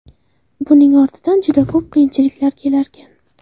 Buning ortidan juda ko‘p qiyinchiliklar kelarkan.